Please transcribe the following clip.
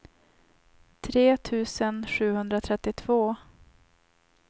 tre tusen sjuhundratrettiotvå